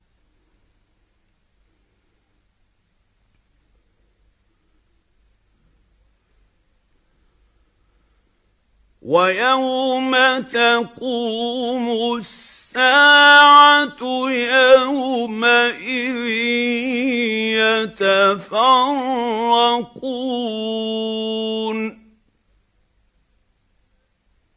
وَيَوْمَ تَقُومُ السَّاعَةُ يَوْمَئِذٍ يَتَفَرَّقُونَ